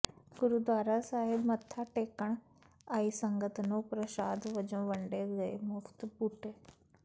ਗੁਰਦੁਆਰਾ ਸਾਹਿਬ ਮੱਥਾ ਟੇਕਣ ਆਈ ਸੰਗਤ ਨੂੰ ਪ੍ਰਸ਼ਾਦ ਵਜੋਂ ਵੰਡੇ ਗਏ ਮੁਫ਼ਤ ਬੂਟੇ